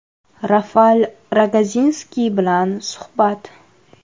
Rafal Rogozinskiy bilan suhbat.